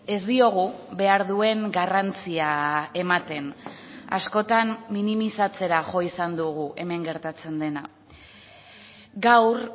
ez diogu behar duen garrantzia ematen askotan minimizatzera jo izan dugu hemen gertatzen dena gaur